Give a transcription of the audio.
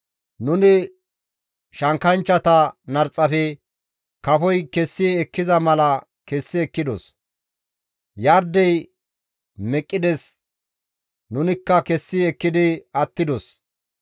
Nuni shankkanchchata narxafe kafoy kessi ekkiza mala kessi ekkidos; Yardey duuxxides nunikka kessi ekkidi attidos.